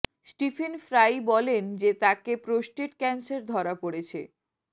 Stephen Fry বলেন যে তাকে প্রোস্টেট ক্যান্সার ধরা পড়েছে